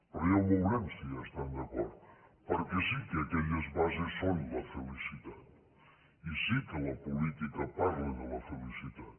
però ja ho veurem si hi estan d’acord perquè sí que aquelles bases són la felicitat i sí que la política parla de la felicitat